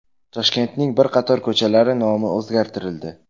Toshkentning bir qator ko‘chalari nomi o‘zgartirildi.